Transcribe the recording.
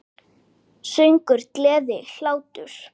Söngur, gleði, hlátur.